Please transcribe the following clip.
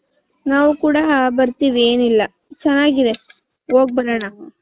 ನಾವು ಕೂಡ ಬರ್ತಿವಿ ಏನಿಲ್ಲ ಚೆನ್ನಾಗಿದೆ ಹೋಗಬರೋಣ .